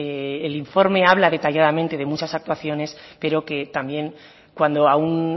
el informe habla detalladamente de muchas actuaciones pero que también cuando a un